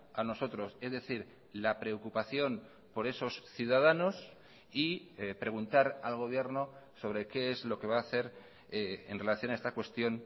a nosotros es decir la preocupación por esos ciudadanos y preguntar al gobierno sobre qué es lo que va a hacer en relación a esta cuestión